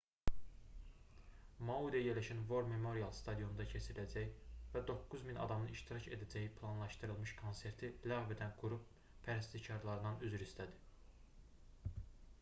mauidə yerləşən war memorial stadionunda keçiriləcək və 9000 adamın iştirak edəcəyi planlaşdırılmış konserti ləğv edən qrup pərəstişkarlarından üzr istədi